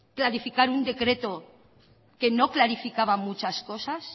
planificar un decreto que no clarificaba muchas cosas